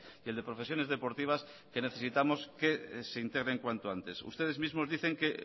y el de profesiones deportivas que necesitamos que se integren cuanto antes ustedes mismos dicen que